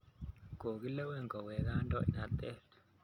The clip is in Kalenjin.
Kokilewen kowek kandoindet